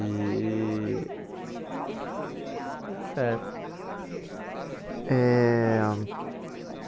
E e... Tudo certo. Eh